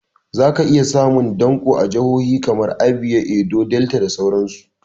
Za ka iya samun danƙo a jahohi kamar Abia, Edo, Delta da sauran su